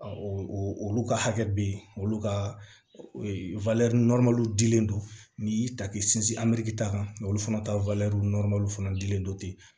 Olu ka hakɛ be yen olu ka ee dilen don n'i y'i ta k'i sinsin a biriki ta kan olu fana ta fana dilen don ten